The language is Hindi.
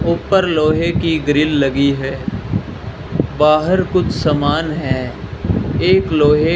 ऊपर लोहे की ग्रिल लगी है बाहर कुछ सामान है एक लोहे --